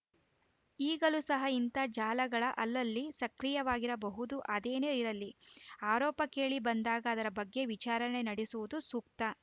ಈಗಲೂ ಸಹ ಇಂತಹ ಜಾಲಗಳು ಅಲ್ಲಲ್ಲಿ ಸಕ್ರಿಯವಾಗಿರಬಹುದು ಅದೇನೇ ಇರಲಿ ಆರೋಪ ಕೇಳಿಬಂದಾಗ ಅದರ ಬಗ್ಗೆ ವಿಚಾರಣೆ ನಡೆಸುವುದು ಸೂಕ್ತ